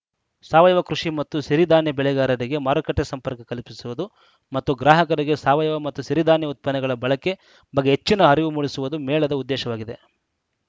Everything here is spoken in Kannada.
ಸಾವಯವ ಕೃಷಿ ಮತ್ತು ಸಿರಿಧಾನ್ಯ ಬೆಳೆಗಾರರಿಗೆ ಮಾರುಕಟ್ಟೆಸಂಪರ್ಕ ಕಲ್ಪಿಸುವುದು ಮತ್ತು ಗ್ರಾಹಕರಿಗೆ ಸಾವಯವ ಮತ್ತು ಸಿರಿಧಾನ್ಯ ಉತ್ಪನ್ನಗಳ ಬಳಕೆ ಬಗ್ಗೆ ಹೆಚ್ಚಿನ ಅರಿವು ಮೂಡಿಸುವುದು ಮೇಳದ ಉದ್ದೇಶವಾಗಿದೆ